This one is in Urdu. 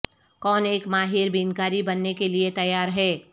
کون ایک ماہر بینکاری بننے کے لئے تیار ہے